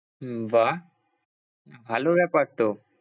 হম বাহ্ ভালো ব্যাপার তো।